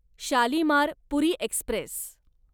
Shalimar Puri Express